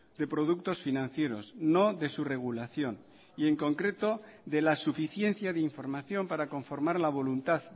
de productos financieros no de su regulación y en concreto de la suficiencia de información para conformar la voluntad